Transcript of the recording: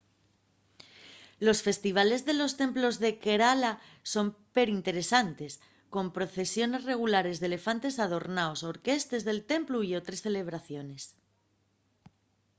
los festivales de los templos de kerala son perinteresantes con procesiones regulares d'elefantes adornaos orquestes del templu y otres celebraciones